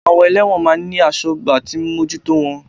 Àwọn Ẹlẹ́wọ̀n máa ń ní asọ́gbà tí ń bójú tó wọn